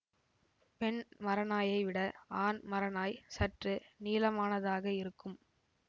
பெண் மரநாயைவிட ஆண் மரநாய் சற்று நீளமானதாக இருக்கும்